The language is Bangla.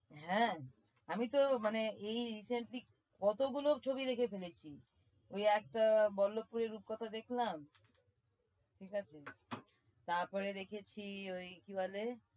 হ্যাঁ আমি তো মানে এই recently কতগুলো ছবি দেখে ফেলেছি ওই একটা বল্লভপুরের রূপকথা দেখলাম ঠিক আছে? তারপরে দেখেছি ওই কি বলে?